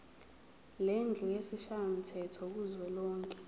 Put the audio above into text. lendlu yesishayamthetho kuzwelonke